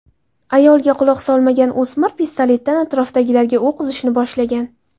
Ayolga quloq solmagan o‘smir pistoletdan atrofdagilarga o‘q uzishni boshlagan.